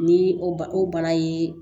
Ni o bana ye